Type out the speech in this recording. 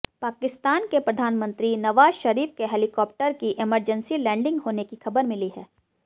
पाकिस्तान के प्रधानमंत्री नवाज शरीफ के हेलिकॉप्टर की इमरजेंसी लैंडिंग होने की खबर मिली है